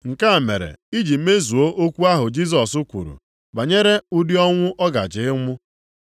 Nke a mere iji mezuo okwu ahụ Jisọs kwuru banyere ụdị ọnwụ ọ gaje ịnwụ.